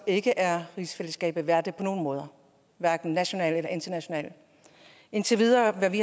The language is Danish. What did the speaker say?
ikke er rigsfællesskabet værdigt på nogen måder hverken nationalt eller internationalt indtil videre har vi